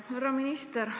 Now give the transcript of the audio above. Härra minister!